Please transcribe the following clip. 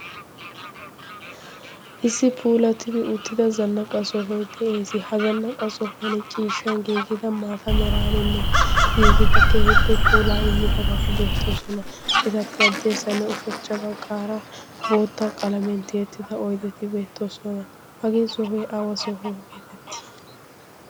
Issi puulattidi uuttida zannaqqa sohoy de'ees. Ha zannaqqa sohuwan ciishshan giigida maata meraaninne giigida kehippe puulaa immidabati beettoosona. Etappe hadirssanne ushachcha baggaara boottaa qalamiyan tiyettida oydeti beettoosona. Hagee sohoy awa soho geetettii?